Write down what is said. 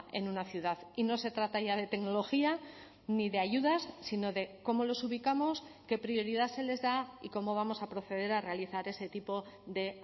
en una ciudad y no se trata ya de tecnología ni de ayudas sino de cómo los ubicamos qué prioridad se les da y cómo vamos a proceder a realizar ese tipo de